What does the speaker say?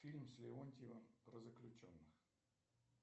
фильм с леонтьевым про заключенных